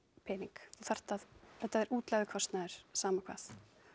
pening þú þarft að þetta er útlagður kostnaður saman hvað